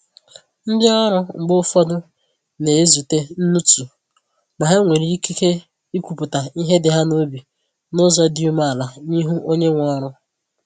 Ndi ọrụ mgbe ụfọdụ na ezute nnutu ma ha nwere ikike ikwupụta ihe dị ha n’obi n’ụzọ dị umeala n’ihu onye nwe ọrụ